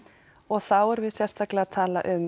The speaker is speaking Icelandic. og þá erum við sérstaklega að tala um